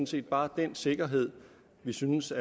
set bare den sikkerhed vi synes